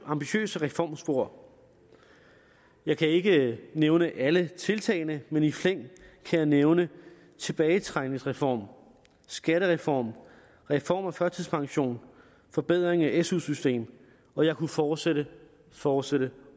ambitiøse reformspor jeg kan ikke nævne alle tiltagene men i flæng kan jeg nævne tilbagetrækningsreform skattereform reform af førtidspension forbedring af su system og jeg kunne fortsætte fortsætte